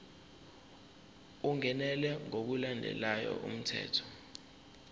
ungenelwe ngokulandela umthetho